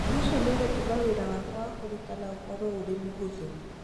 "ũndũ ũcio nĩũgũtũma wĩra wakwa wa kũrutana nĩ ũkorũo ũrĩ mũhũthũ!"